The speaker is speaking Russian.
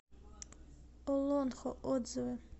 олонхо отзывы